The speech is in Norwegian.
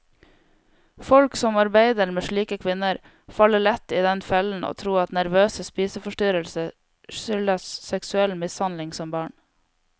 Folk som arbeider med slike kvinner, faller lett i den fellen å tro at nervøse spiseforstyrrelser skyldes seksuell mishandling som barn.